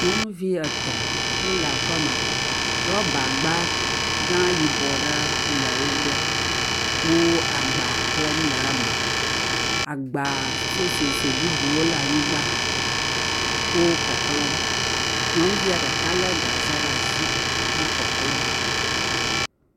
Nyɔnuvi etɔ̃ wole aƒeme rɔba gba gã yibɔ aɖe le wo gbɔ wole agba klɔm le eme, agba susususue bubuwo le anyigba wo kɔklɔm, nyɔnuvia ɖeka lé gaxe ɖe asi he kɔklɔm.